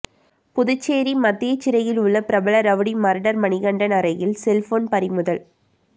புதுச்சேரி மத்திய சிறையில் உள்ள பிரபல ரவுடி மர்டர் மணிகண்டன் அறையில் செல்போன் பறிமுதல்